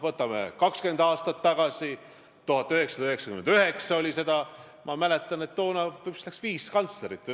Minu meelest, ma küll stenogrammi nüüd ei saa vaadata, aga minu meelest oli praeguse infotunni varasemates küsimustes juttu poliitilisest mõjutatusest.